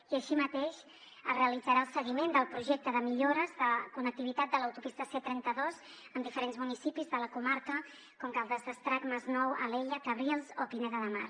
i així mateix es realitzarà el seguiment del projecte de millores de connectivitat de l’autopista c trenta dos amb diferents municipis de la comarca com caldes d’estrac el masnou alella cabrils o pineda de mar